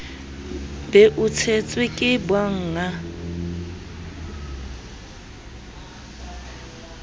be o tshetswe ke bannga